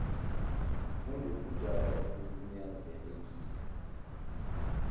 mfundi obudala obunyanzelekile